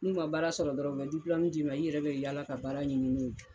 N'u ma baara sɔrɔ dɔrɔn, u bɛ diplomu d'i ma i yɛrɛ bɛ yaala ka baara ɲini no ye.